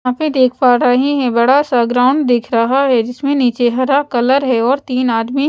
यहां पे देख पा रहे हैं बड़ा सा ग्राउंड दिख रहा है जिसमें नीचे हरा कलर है और तीन आदमी--